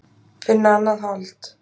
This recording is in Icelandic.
Finna annað hold.